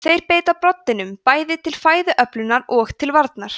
þeir beita broddinum bæði til fæðuöflunar og til varnar